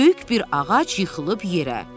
Böyük bir ağac yıxılıb yerə.